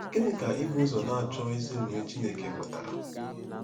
Gịnị ka ibu ụzọ na-achọ ezi omume Chineke pụtara?